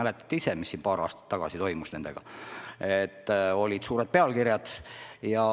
Te ju mäletate, mis paar aastat tagasi nendega toimus, kõikjal olid suured pealkirjad.